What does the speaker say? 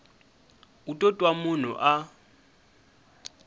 u to twa munhu a